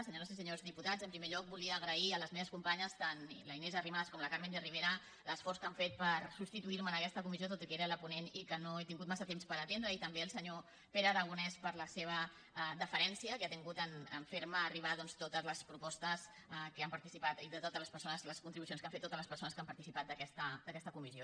senyores i senyors diputats en primer lloc volia agrair a les meves companyes tant la inés arrimadas com la carmen de rivera l’esforç que han fet per substituir me en aquesta comissió tot i que era la ponent i que no he tingut massa temps per atendre i també al senyor pere aragonès per la seva deferència que ha tingut de fer me arribar doncs totes les propostes que han participat i de totes les persones les contribucions que han fet totes les persones que han participat en aquesta comissió